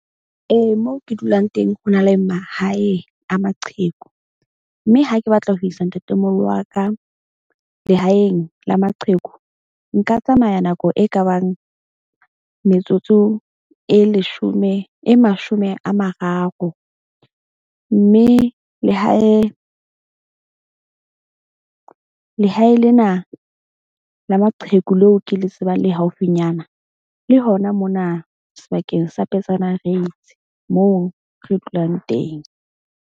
Ee, mo ke dulang teng. Ho na le mahaeng a maqheku, mme ha ke batla ho isa ntatemoholo wa ka lehaeng la maqheku. Nka tsamaya nako e kabang metsotso e leshome e mashome a mararo. Mme lehae lena la maqheku leo ke le tsebang, le haufinyana le hona mona sebakeng sa Petsana Reitz, moo re dulang teng.